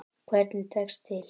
Hvernig tekst til?